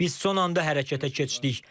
Biz son anda hərəkətə keçdik.